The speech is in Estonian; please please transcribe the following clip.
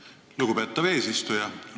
Aitäh, lugupeetav eesistuja!